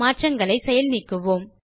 மாற்றங்களை செயல் நீக்குவோம்